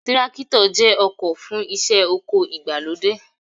Tírákítọ̀ jẹ́ ọkọ̀ fún iṣẹ́ oko ìgbàlódé